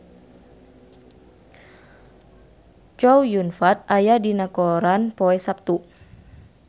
Chow Yun Fat aya dina koran poe Saptu